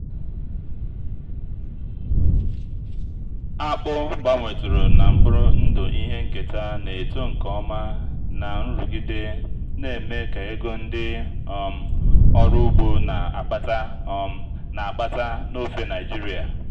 akpụ gbanwetụrụ na mkpụrụ ndụ ihe nketa na-eto nke ọma na nrụgide na-eme ka ego ndị um ọrụ ugbo na-akpata um na-akpata n'ofe nigeria.